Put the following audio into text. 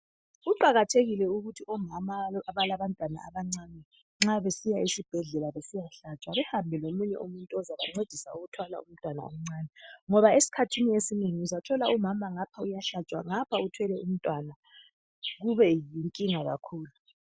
Kuqakathekile ukuthi omama abalabantwana abancane nxa besiya esibhedlela besiya hlatshwa behambe lomunye umuntu ozabancedisa ukubamba umntwana omncinyane ngoba esikhathini esinengi uyathola umama ngapha uyahlatshwa , ngapha uthwele umntwana kube yinkinga kakhulu.